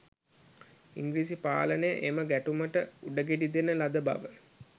ඉංග්‍රීසි පාලනය එම ගැටුමට උඩගෙඩි දෙන ලද බව